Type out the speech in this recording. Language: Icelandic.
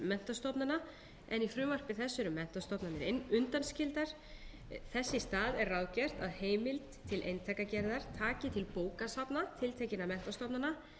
menntastofnana en í frumvarpi þessu eru menntastofnanir undanskildar þess í stað er ráðgert að heimild til eintakagerðar taki til bókasafna tiltekinna menntastofnana en